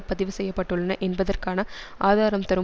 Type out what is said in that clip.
பதிவு செய்ய பட்டுள்ளன என்பதற்கான ஆதாரம் தரும்